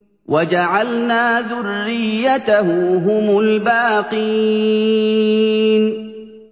وَجَعَلْنَا ذُرِّيَّتَهُ هُمُ الْبَاقِينَ